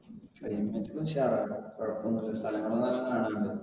climate ഉഷാറാണ്. കുഴപ്പമൊന്നുമില്ല. സ്ഥലങ്ങൾ നല്ലോണം കാണാനുണ്ട്